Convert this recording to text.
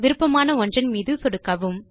விருப்பமான ஒன்றன் மீது சொடுக்கவும்